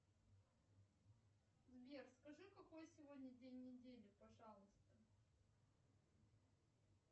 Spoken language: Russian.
сбер скажи какой сегодня день недели пожалуйста